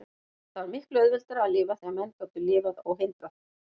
Það var miklu auðveldara að lifa þegar menn gátu lifað óhindrað.